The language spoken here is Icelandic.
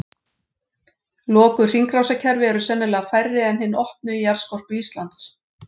Lokuð hringrásarkerfi eru sennilega færri en hin opnu í jarðskorpu Íslands.